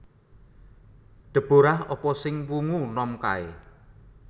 Deborah apa sing wungu nom kae